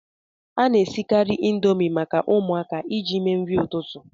A na-esikarị Indomi maka ụmụaka iji mee nri ụtụtụ